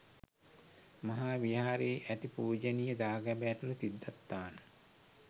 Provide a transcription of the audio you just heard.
මහා විහාරයේ ඇති පූජනීය දාගැබ් ඇතුළු සිද්ධස්ථාන